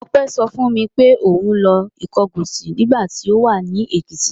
Ọpẹ́ sọ fún mi pé òun lọ Ìkọgọ̀sì nígbà tí ó wà ní Èkìtì.